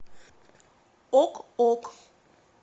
ок ок